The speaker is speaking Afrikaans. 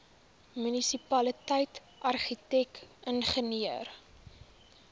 munisipaliteit argitek ingenieur